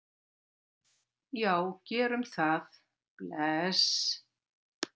Já, við gerum það. Bless.